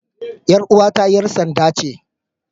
Yar uwata 'yar sanda ce.